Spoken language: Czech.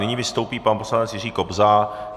Nyní vystoupí pan poslanec Jiří Kobza.